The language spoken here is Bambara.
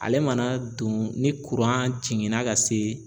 Ale mana don ni kuran jiginna ka se